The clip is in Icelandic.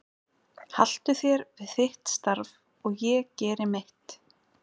Haltu þér við þitt starf og ég geri mitt.